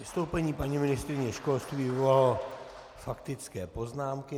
Vystoupení paní ministryně školství vyvolalo faktické poznámky.